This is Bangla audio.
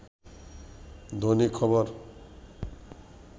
দৈনিক খবর